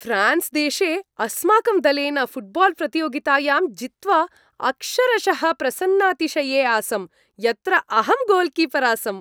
France देशे अस्माकं दलेन फ़ुट्बाल्प्रतियोगितायां जित्वा अक्षरशः प्रसन्नातिशये आसम्, यत्र अहं गोल्कीपर् आसम्।